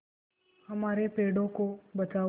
हमारे पेड़ों को बचाओ